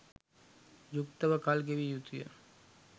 යුක්තව කල් ගෙවිය යුතුය.